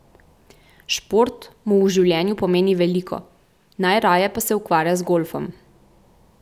Šport mu v življenju pomeni veliko, najraje pa se ukvarja z golfom.